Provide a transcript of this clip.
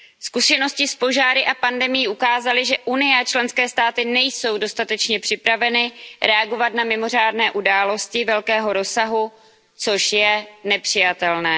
Zkušenosti s požáry a pandemií ukázaly, že Evropská unie a členské státy nejsou dostatečně připraveny reagovat na mimořádné události velkého rozsahu, což je nepřijatelné.